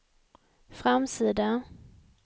framsida